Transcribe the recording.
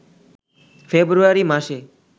ফেব্রুয়ারি মাসে